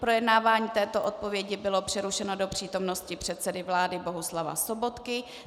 Projednávání této odpovědi bylo přerušeno do přítomnosti předsedy vlády Bohuslava Sobotky.